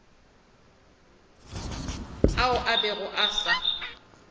ao a bego a sa